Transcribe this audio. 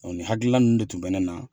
O ni hakilila ninnu de tun bɛ ne na.